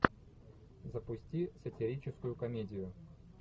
запусти сатирическую комедию